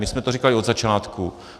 My jsme to říkali od začátku.